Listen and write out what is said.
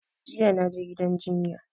Jiya na je gidan jinya